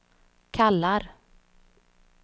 kallar